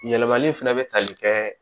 Yɛlɛmali fɛnɛ bɛ tali kɛ